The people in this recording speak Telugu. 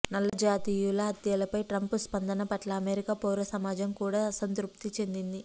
నల్ల జాతీయుల హత్యలపై ట్రంప్ స్పందన పట్ల అమెరికా పౌర సమాజం కూడా అసంతృప్తి చెందింది